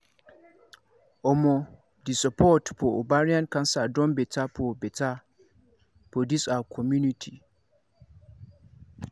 omo the support for ovarian cancer don better for better for this our community